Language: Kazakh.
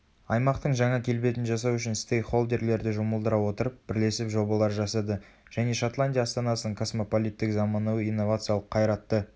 аймақтың жаңа келбетін жасау үшін стейк холдерлерді жұмылдыра отырып бірлесіп жобалар жасады және шотландия астанасының космополиттік заманауи инновациялық қайратты